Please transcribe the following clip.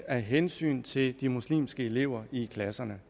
af hensyn til de muslimske elever i klasserne